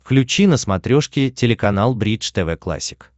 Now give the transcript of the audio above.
включи на смотрешке телеканал бридж тв классик